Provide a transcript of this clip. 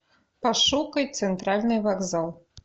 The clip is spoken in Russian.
пошукай центральный вокзал